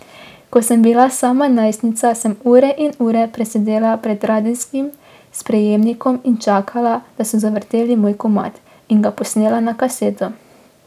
Ko sem bila sama najstnica, sem ure in ure presedela pred radijskim sprejemnikom in čakala, da so zavrteli moj komad, in ga posnela na kaseto.